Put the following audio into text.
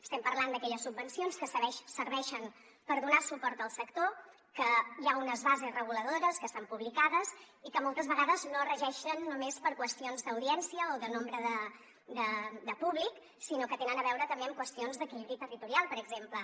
estem parlant d’aquelles subvencions que serveixen per donar suport al sector que hi ha unes bases reguladores que estan publicades i que moltes vegades no es regeixen només per qüestions d’audiència o de nombre de públic sinó que tenen a veure també amb qüestions d’equilibri territorial per exemple